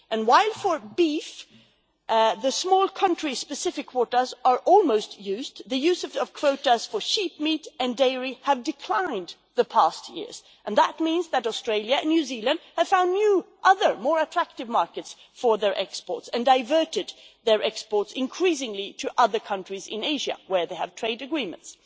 And while for beef the small country specific quotas are almost entirely used, the use of quotas for sheep meat and dairy have declined the past years and that means that Australia and New Zealand have found new, other, more attractive markets for their exports, and have diverted their exports increasingly to other countries in Asia, where they have trade agreements.